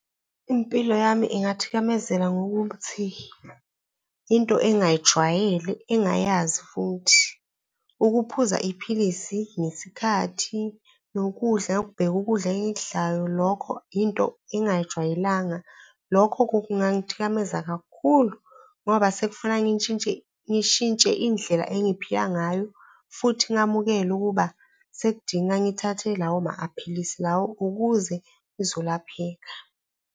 Impilo yami ingathikamela ngokuthi into engingayijwayele engayazi futhi. Ukuphuza iphilisi ngesikhathi, nokudla, ukubheka ukudla engikudlayo, lokho into engingayijwayelanga, lokho kungangithikameza kakhulu ngoba sekufuna ngintshintshe, ngishintshe indlela engiphila ngayo futhi ngamukele ukuba sekudinga ngithathe lawo maphilisi lawo ukuze ngizolapheka.